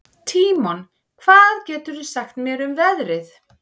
Tímon, hvað geturðu sagt mér um veðrið?